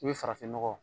I bɛ farafinnɔgɔ